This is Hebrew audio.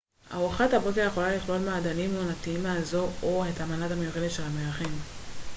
ארוחת הבוקר יכולה לכלול מעדנים עונתיים מהאזור או את המנה המיוחדת של המארחים